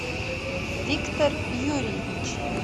виктор юрьевич